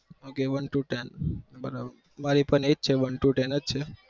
Okay one to ten બરાબર અમારી પણ એ જ છે one to ten જ છે